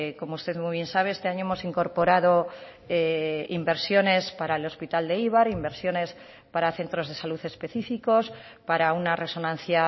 como usted muy bien sabe este año hemos incorporado inversiones para el hospital de eibar inversiones para centros de salud específicos para una resonancia